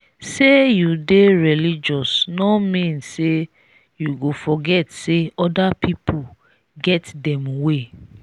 sey you dey religious no mean say you go forget sey other pipu get dem way.